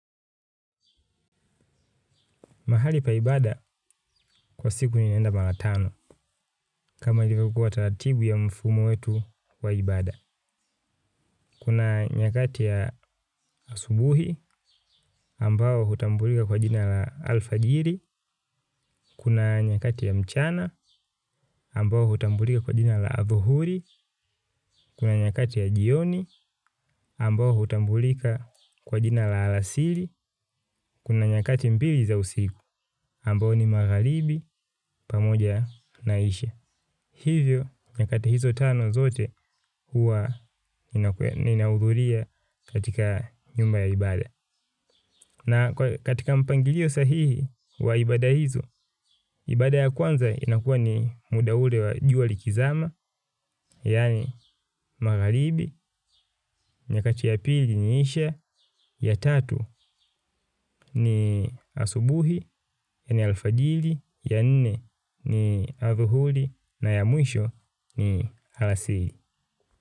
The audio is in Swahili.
Mahali pa ibada kwa siku ninaenda mala tano, kama ilivyokua tatatibu ya mfumo wetu wa ibada. Kuna nyakati ya asubuhi, ambao hutambulika kwa jina la alfajiri. Kuna nyakati ya mchana, ambao hutambulika kwa jina la adhuhuri. Kuna nyakati ya jioni, ambao hutambulika kwa jina la alasiri. Kuna nyakati mbili za usiku, ambao ni maghalibi pamoja na isha. Hivyo, nyakati hizo tano zote hua ninaudhulia katika nyumba ya ibada. Na katika mpangilio sahihi wa ibada hizo, ibada ya kwanza inakua ni muda ule wa jua likizama, yaani maghalibi, nyakati ya pili ni isha, ya tatu ni asubuhi, yaani alfajili, ya nne ni adhuhuli, na ya mwisho ni alasili.